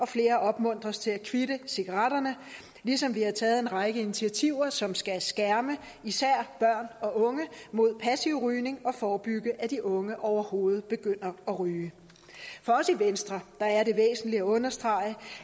flere opmuntres til at kvitte cigaretterne ligesom vi har taget en række initiativer som skal skærme især børn og unge mod passiv rygning og forebygge at de unge overhovedet begynder at ryge for os i venstre er det væsentligt at understrege